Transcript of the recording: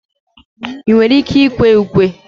ị nwere ike ịkwe ukwe?